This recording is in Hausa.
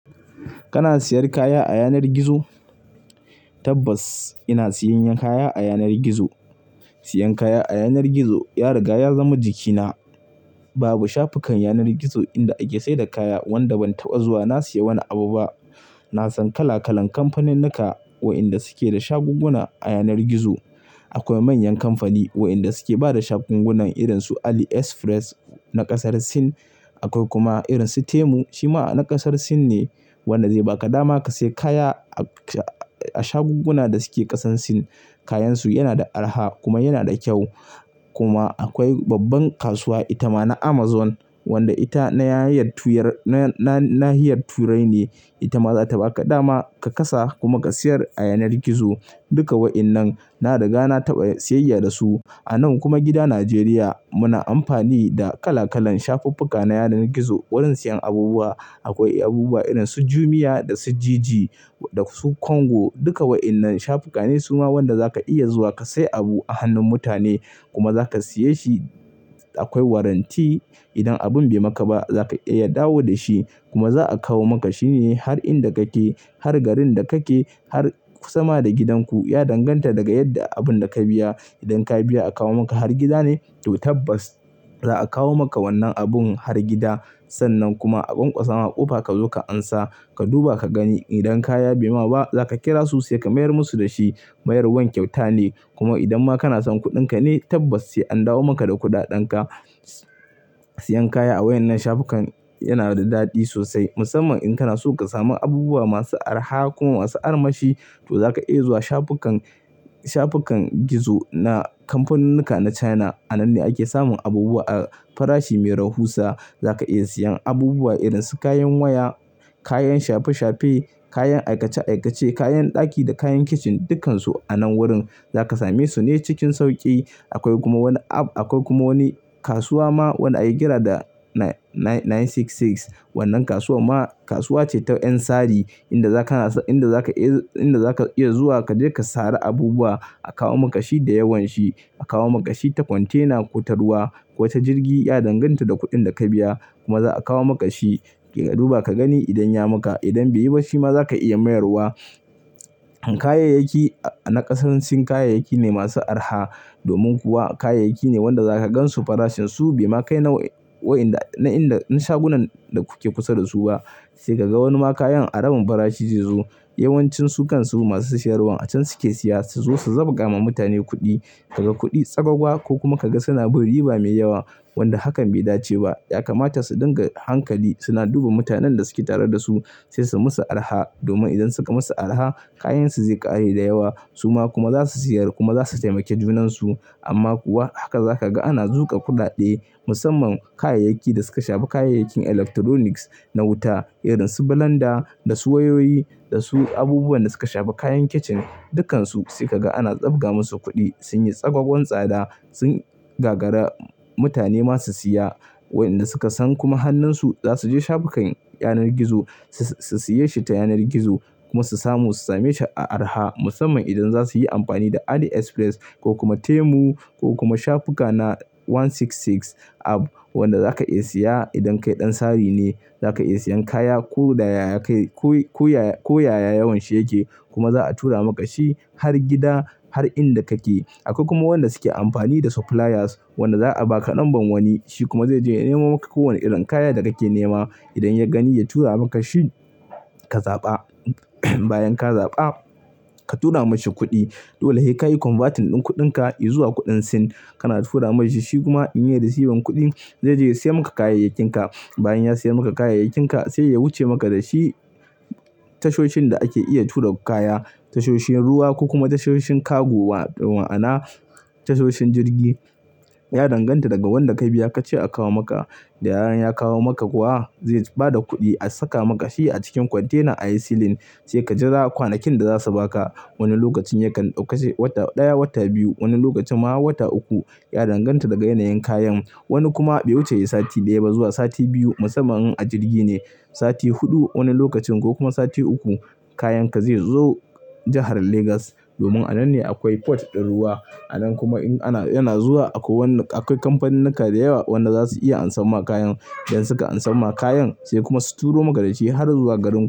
Kana siyan kaya a yanar gizo? Tabbas ina siyan kaya a yanar gizo. Siyan kaya a yanar gizo ya riga ya zama jikina. Babu shafukan yanar gizo inda ake saida kaya wanda ban taɓa zuwa na siya wani abu ba. Na san kala kalan kamfaninnika wa inda suke da shagugguna a yanar gizo. Akwai manyan kamfani wayanda suke bada shagugguna irinsu AliExpress na kasar Sin. Akwai kuma irinsu Temu shi ma na kasar Sin ne. Wannan zai baka dama ka siya kaya a shagugguna da suke ƙasan Sin. Kayansu yana da arha kuma yana da kyau. Kuma akwai babban kasuwa itama na Amazon wanda ita nahiyar tuyar ne. Na nahiyar turai ne Ita ma za ta baka dama ka kasa kuma ka siyar a yanar gizo. Duka wa'innan na riga na taɓa siyayya da su. Anan kuma gida Najeriya muna amfani da kala kalan shafukan na yanar gizo wurin siyan abubuwa. Akwai abubuwa irinsu Jumia da su Jiji da su Konga. Duka wa'innan shafuka ne suma wanda zaka iya zuwa ka siya abu a hannun mutane kuma zaka siya shi. Akwai warranty. Idan abun bai maka ba zaka iya ya dawo da shi kuma za'a kawo maka shine har inda kake, har garin da kake, har sama da gidanku. Ya danganta daga yadda abun da ka biya. Idan ka biya a kawo maka har gida ne to tabbas za'a kawo maka wannan abun har gida. Sannan kuma a kwankwasa ma ƙofa ka zo ka ansa. Ka duba ka gani. Idan kaya bai ma ba zaka kira su sai ka mayar musu da shi. Mayarwan kyauta ne. Kuma idan ma kana son kuɗinka ne tabbas sai an dawo maka da kuɗaɗen ka. Siyan kaya a wayan nan shafukan yana da daɗi sosai musamman in kana so ka samu abubuwa masu arha kuma masu armashi to zaka iya zuwa shafukan shafukan gizo na kamfaninnika na China. A nan ne ake samun abubuwa a farashi mai rahusa. Zaka iya siyan abubuwa irinsu kayan waya, kayan shafe-shafe, kayan aikace-aikace, kayan ɗaki da kayan kicin dukkansu a nan wurin. Zaka same su ne cikin sauƙi. Akwai kuma wani app. Akwai kuma wani kasuwa ma wanda ake kira da nine six six. Wannan kasuwa ma kasuwa ce ta 'yan sari inda zaka iya zuwa ka je ka sare abubuwa a kawo maka shi da yawan shi. A kawo maka shi ta kwantena ko ta ruwa ko ta jirgi. Ya danganta da kuɗin da ka biya kuma za'a kawo maka shi. Ka duba ka gani idan ya maka. Idan bai yi ba shi ma zaka iya mayarwa. Kayayyaki na ƙasar Sin kayayyaki ne masu arha domin kuwa kayayyaki ne wanda za ka gan su farashin su bai ma kai na shagunan da kuke kusa da su ba. Sai ka ga wani ma kayan a rabin farashi zai zo. Yawan cin su kan su masu siyarwa a can suke siya su zo su zabga ma mutane kuɗi. Ka ga kuɗi tsagwaga ko kuma ka ga suna bin riba mai yawa wanda hakan bai dace ba. Ya kamata su dinga hankali. Suna duba mutanen da suke tare da su sai su musu arha domin idan suka musu arha kayan su zai ƙare da yawa suma kuma za su siyar kuma za su taimake junansu. Amma kuwa haka za ka ga ana zuƙa kuɗaɗe musamman kayayyakin da suka shafi kayayyakin electronics na wuta irinsu blender da su wayoyi da su abubuwan da suka shafi kayan kicin. Dukkansu sai ka ga ana tsabga musu kuɗi. Sun yi tsagwagon tsada. Sun gagara mutane masu siya. Wayanda suka san kuma hannun su za su je shafukan yanar gizo su siya shi ta yanar gizo kuma su samu su same shi a arha musamman idan za su yi amfani da AliExpress ko kuma Temu ko kuma shafukan na one six six app wanda za ka iya siya idan kai ɗan sari ne. Za ka iya siyan kaya ko yaya yawan shi yake kuma za a tura maka shi har gida har inda kake. Akwai kuma wanda suke amfani da suppliers wanda za a baka ɗan ban wani shi kuma zai je ya nemo maka kowane irin kaya da kake nema. Idan ya gani ya tura maka shi ka zaɓa. Bayan ka zaɓa ka tura mashi kuɗi. Dola he ka yi converting din kuɗinka yi zuwa kuɗin Sin kana tura mashi shi kuma in ya yi receiving kuɗin zai je ya siya maka kayayyakinka. Bayan ya siya maka kayayyakinka sai ya wuce maka da shi tashoshin da ake iya tura kaya, tashoshin ruwa ko kuma tashoshin cargo wa'ana tashoshin jirgi. Ya danganta daga wanda ka biya ka ce a kawo maka. Da yaran ya kawo maka kuwa zai ba da kuɗi a saka maka shi a cikin kwantenan a yi siilin sai ka jira kwanakin da za su baka. Wani lokacin yakan dauka sai wata ɗaya wata biyu. Wani lokacin ma wata uku. Ya danganta daga yanayin kayan. Wani kuma bai wuce yi sati ɗaya ba zuwa sati biyu musamman in a jirgi ne. Sati huɗu wani lokacin ko kuma sati uku kayanka zai zo jahar Legas domin a nan ne akwai port din ruwa. A nan kuma akwai kamfaninnika da yawa wanda za su iya ansa ma kayan. Idan suka ansa ma kayan sai kuma su turo maka da shi har zuwa garinku.